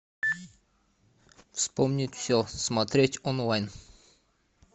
вспомнить все смотреть онлайн